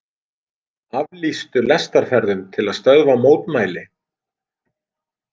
Aflýstu lestarferðum til að stöðva mótmæli